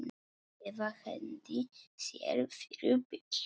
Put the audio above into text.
Eða hendi sér fyrir bíl.